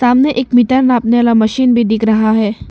सामने एक मीटर नापने वाला मशीन भी दिख रहा है।